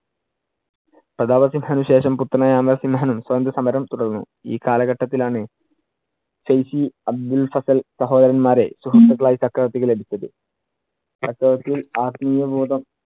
പ്രതാപ സിംഹനു ശേഷം പുത്രനായ അമൽ സിംഹനും സ്വാതന്ത്രസമരം തുടർന്നു. ഈ കാലഘട്ടത്തിൽ ആണ് സഹോദരൻമാരെ സുഹൃത്തുക്കൾ ആയി ചക്രവർത്തിക്ക് ലഭിച്ചത്. ചക്രവർത്തിയിൽ ആത്മീയ ബോധം